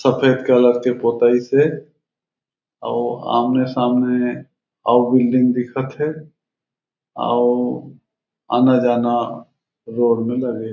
सफ़ेद कलर के पोताइस हे आउ आमने-सामने आउ बिल्डिंग दिखत हे आउ आना-जाना रोड में लगे हे।